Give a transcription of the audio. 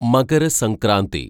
Makara Sankranti